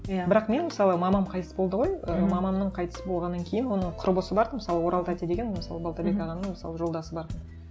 иә бірақ мен мысалы мамам қайтыс болды ғой ы мамамның қайтыс болғаннан кейін оның құрбысы бар тын мысалы орал тәте деген мысалы балтабек ағаның мысалы жолдасы бар